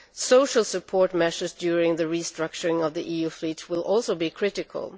Social support measures during the restructuring of the EU fleet will also be critical.